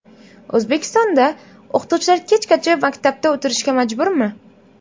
O‘zbekistonda o‘qituvchilar kechgacha maktabda o‘tirishga majburmi?.